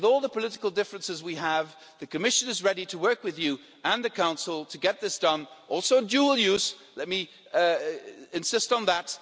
With all the political differences we have, the Commission is ready to work with you and the Council to get this done also dual use, let me insist on that.